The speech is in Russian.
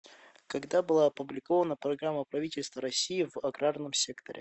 когда была опубликована программа правительства россии в аграрном секторе